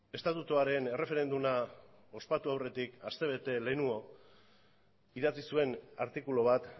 estatutuaren erreferenduma ospatu aurretik aste bete lehenago idatzi zuen artikulu bat